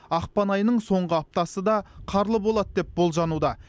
ақпан айының соңғы аптасы да қарлы болады деп болжануда